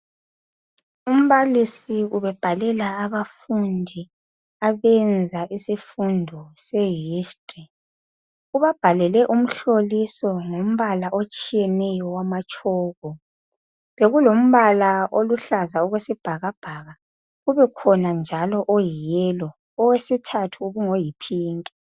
Umbalisi ubebhalela abafundi abenza isifundo se History ubabhalele umhloliso ngombala otshiyeneyo wamatshoko bekulombala oluhlaza okwesibhakabhaka kubekhona njalo oyiyellow owesithathu ubungoyi pink